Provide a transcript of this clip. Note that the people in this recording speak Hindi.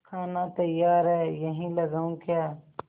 खाना तैयार है यहीं लगाऊँ क्या